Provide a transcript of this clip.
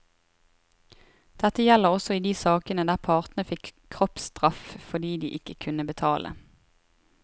Dette gjelder også i de sakene der partene fikk kroppstraff fordi de ikke kunne betale.